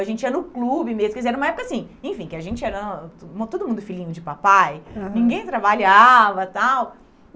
A gente ia no clube mesmo, quer dizer, era uma época assim, enfim, que a gente era... Todo mundo filhinho de papai, aham, ninguém trabalhava e tal.